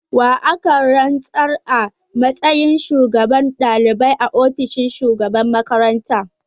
Wa aka rantsar a matsayin shugaban dalibai a ofishin shugaban makaranta?